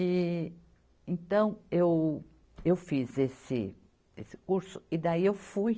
E então, eu, eu fiz esse, esse curso e daí eu fui.